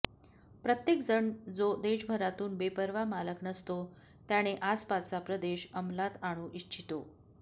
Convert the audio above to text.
प्रत्येकजण जो देशभरातून बेपर्वा मालक नसतो त्याने आसपासचा प्रदेश अंमलात आणू इच्छितो